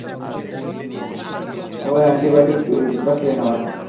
ও anti-biotic দুটো খেয়ে নাও এখন